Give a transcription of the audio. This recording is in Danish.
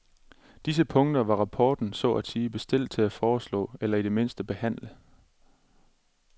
Disse punkter var rapporten så at sige bestilt til at foreslå eller i det mindste behandle.